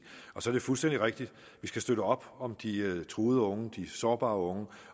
så er det fuldstændig rigtig at vi skal støtte op om de truede unge de sårbare unge